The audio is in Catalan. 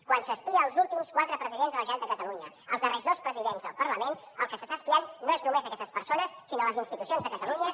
quan s’espia els últims quatre presidents de la generalitat de catalunya els darrers dos presidents del parlament el que s’està espiant no és només aquestes persones sinó les institucions de catalunya